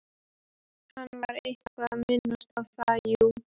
Hann var eitthvað að minnast á það, jú.